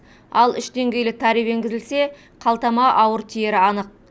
ал үш деңгейлі тариф енгізілсе қалтама ауыр тиері анық